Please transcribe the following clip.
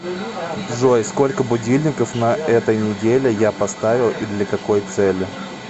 джой сколько будильников на этой неделе я поставил и для какой цели